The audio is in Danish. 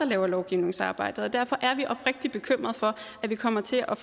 laver lovgivningsarbejdet og derfor er vi oprigtigt bekymret for at vi kommer til at